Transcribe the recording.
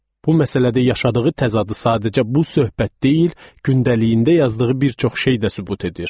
Bu məsələdə yaşadığı təzadı sadəcə bu söhbət deyil, gündəliyində yazdığı bir çox şey də sübut edir.